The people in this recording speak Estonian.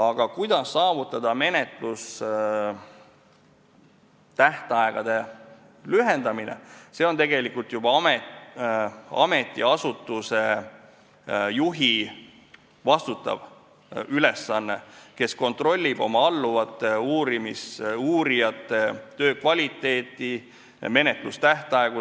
Aga see, kuidas saavutada menetlustähtaegade lühendamine, on tegelikult juba ametiasutuse juhi ülesanne, kes kontrollib oma alluvate, uurijate töö kvaliteeti ja menetlustähtaegu.